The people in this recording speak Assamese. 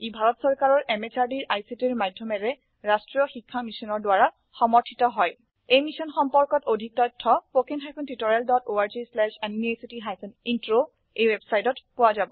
ই ভাৰত চৰকাৰৰ MHRDৰ ICTৰ মাধয়মেৰে ৰাস্ত্ৰীয় শিক্ষা মিছনৰ দ্ৱাৰা সমৰ্থিত হয় ই মিশ্যন সম্পৰ্কত অধিক তথ্য spoken hyphen tutorial dot org slash এনএমইআইচিত হাইফেন ইন্ট্ৰ ৱেবচাইটত পোৱা যাব